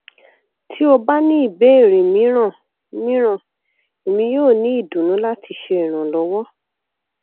ti o ba ni ibeere miiran miiran emi yoo ni idunnu lati ṣe iranlọwọ